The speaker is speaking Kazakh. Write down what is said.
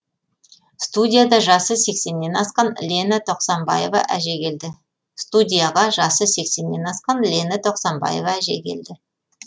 студияға жасы сексеннен асқан лена тоқсанбаева әже келді